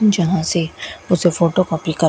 जहां से उसे फोटो कॉपी का--